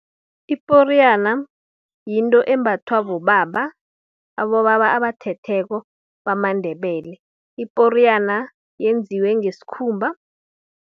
Iporiyana, yinto embathwa bobaba, abobaba abathetheko, bamaNdebele. Iporiyana yenziwe ngesikhumba.